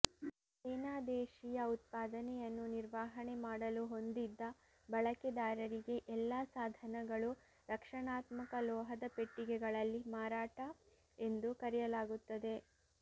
ಸೇನಾ ದೇಶೀಯ ಉತ್ಪಾದನೆಯನ್ನು ನಿರ್ವಹಣೆ ಮಾಡಲು ಹೊಂದಿದ್ದ ಬಳಕೆದಾರರಿಗೆ ಎಲ್ಲಾ ಸಾಧನಗಳು ರಕ್ಷಣಾತ್ಮಕ ಲೋಹದ ಪೆಟ್ಟಿಗೆಗಳಲ್ಲಿ ಮಾರಾಟ ಎಂದು ಕರೆಯಲಾಗುತ್ತದೆ